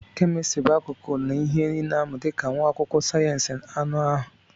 Chemistry bụ akụkụ nke ihe ị na-amụ dị ka nwa akwụkwọ sayensị anụ ahụ.